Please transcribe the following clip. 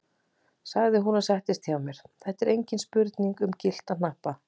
sagði hún og settist hjá mér, þetta er engin spurning um gyllta hnappa!